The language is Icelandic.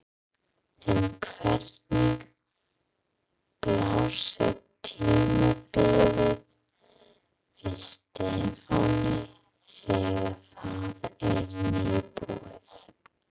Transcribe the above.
En hvernig blasir tímabilið við Stefáni þegar það er nýbúið?